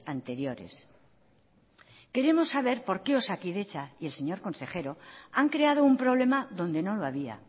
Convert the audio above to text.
anteriores queremos saber por qué osakidetza y el señor consejero han creado un problema donde no lo había